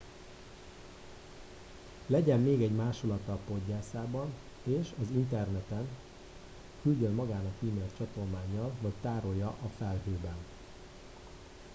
legyen még egy másolata a poggyászában és az interneten küldjön magának e-mailt csatolmánnyal vagy tárolja a felhőben”